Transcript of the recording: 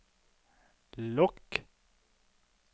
lukk